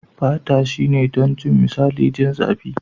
Fata shine don jin misali. Jin zapi.